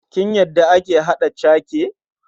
Kin yadda ake haɗa cake?